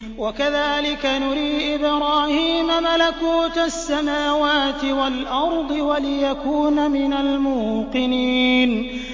وَكَذَٰلِكَ نُرِي إِبْرَاهِيمَ مَلَكُوتَ السَّمَاوَاتِ وَالْأَرْضِ وَلِيَكُونَ مِنَ الْمُوقِنِينَ